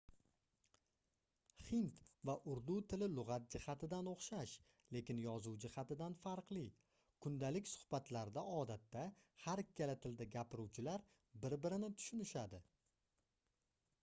hind va urdu tili lugʻat jihatidan oʻxshash lekin yozuv jihatidan farqli kundalik suhbatlarda odatda har ikkala tilda gapiruvchilar bir-birini tushunadi